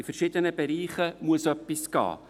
In verschiedenen Bereichen muss etwas gehen.